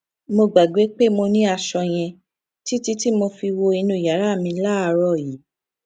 mo gbàgbé pé mo ní aṣọ yẹn títí tí mo fi wo inú yàrá mi láàárò yìí